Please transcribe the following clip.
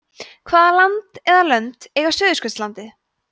hvaða land eða lönd eiga suðurskautslandið